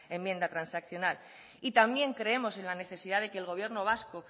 enmienda transaccional y también creemos en la necesidad de que el gobierno vasco